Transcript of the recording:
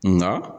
Nka